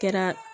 Kɛra